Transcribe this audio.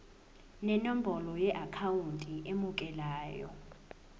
nenombolo yeakhawunti emukelayo